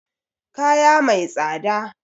Kaya mai tsada